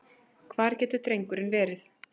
Hvar getur drengurinn verið?